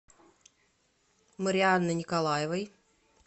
марианны николаевой